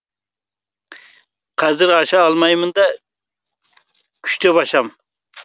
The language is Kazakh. қазір аша алмаймын да күштеп ашамын